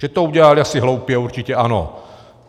Že to udělali asi hloupě, určitě ano.